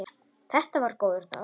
Þetta var góður dagur.